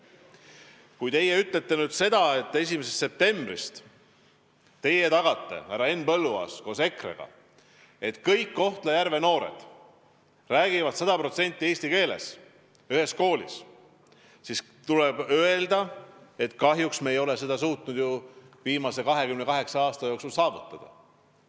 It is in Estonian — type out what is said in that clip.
Kui te soovite öelda, et 1. septembrist teie, härra Henn Põlluaas koos EKRE-ga tagate, et kõik Kohtla-Järve noored räägivad eesti keelt, siis tuleb öelda, et kahjuks me ei ole seda suutnud viimase 28 aasta jooksul saavutada.